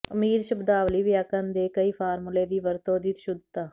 ਅਮੀਰ ਸ਼ਬਦਾਵਲੀ ਵਿਆਕਰਣ ਦੇ ਕਈ ਫਾਰਮੂਲੇ ਦੀ ਵਰਤੋ ਦੀ ਸ਼ੁੱਧਤਾ